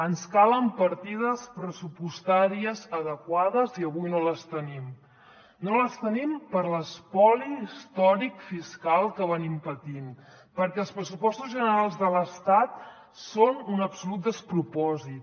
ens calen partides pressupostàries adequades i avui no les tenim no les tenim per l’espoli històric fiscal que patim perquè els pressupostos generals de l’estat són un absolut despropòsit